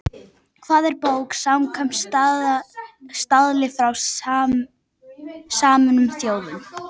Hvað er bók samkvæmt staðli frá Sameinuðu þjóðunum?